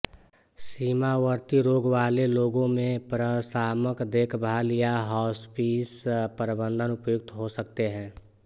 सीमावर्ती रोग वाले लोगों में प्रशामक देखभाल या हॉस्पिस प्रबंधन उपयुक्त हो सकते हैं